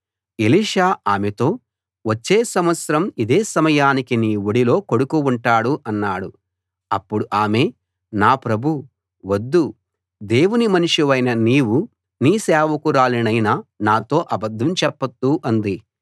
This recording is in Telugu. ఎలీషా ఆమెతో వచ్చే సంవత్సరం ఇదే సమయానికి నీ ఒడిలో కొడుకు ఉంటాడు అన్నాడు అప్పుడు ఆమె నా ప్రభూ వద్దు దేవుని మనిషివైన నీవు నీ సేవకురాలినైన నాతో అబద్ధం చెప్పొద్దు అంది